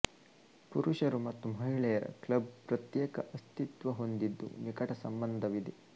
ಪುರುಷರು ಮತ್ತು ಮಹಿಳೆಯರ ಕ್ಲಬ್ ಪ್ರತ್ಯೇಕ ಅಸ್ತಿತ್ವ ಹೊಂದಿದ್ದುನಿಕಟ ಸಂಬಂಧವಿದೆ